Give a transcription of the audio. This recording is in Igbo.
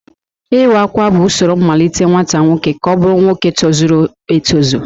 Iwa Akwa bụ usoro mmalite nwata nwoke ka ọ bụrụ nwoke tozuru etozu